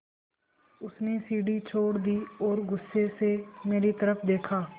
उसने सीढ़ी छोड़ दी और गुस्से से मेरी तरफ़ देखा